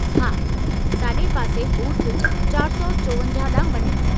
हा, साॼे पासे बूथ 454 ॾांहुं वञो।